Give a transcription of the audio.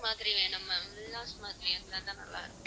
மாதிரி வேணும் ma'am villas மாதிரி இருந்தாதான் நல்லா இருக்கும்